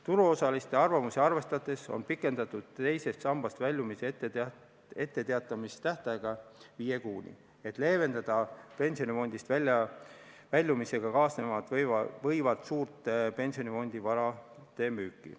Turuosaliste arvamusi arvestades on pikendatud teisest sambast väljumisest etteteatamise tähtaega viie kuuni, et leevendada pensionifondist väljumisega kaasneda võivat suurt pensionifondi varade müüki.